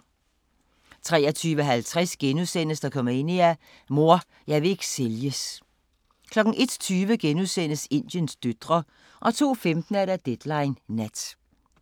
23:50: Dokumania: Mor, jeg vil ikke sælges * 01:20: Indiens døtre * 02:15: Deadline Nat